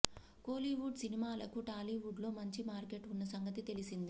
కోలీవుడ్ సినిమాలకు టాలీవుడ్ లో మంచి మార్కెట్ ఉన్న సంగతి తెలిసిందే